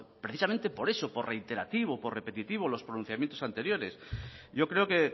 precisamente por eso por reiterativo por repetitivo los pronunciamientos anteriores yo creo que